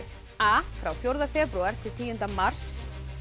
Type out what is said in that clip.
a frá fjórða febrúar til tíunda mars